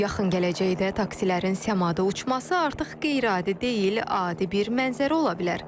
Yaxın gələcəkdə taksilərin səmada uçması artıq qeyri-adi deyil, adi bir mənzərə ola bilər.